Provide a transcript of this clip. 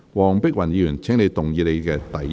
黃碧雲議員，請動議你的第一項修正案。